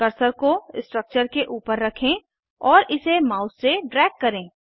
cursor को structure के ऊपर रखें और इसे माउस से ड्रैग करें